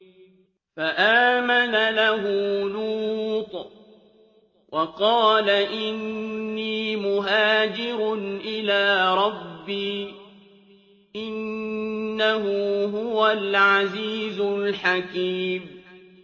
۞ فَآمَنَ لَهُ لُوطٌ ۘ وَقَالَ إِنِّي مُهَاجِرٌ إِلَىٰ رَبِّي ۖ إِنَّهُ هُوَ الْعَزِيزُ الْحَكِيمُ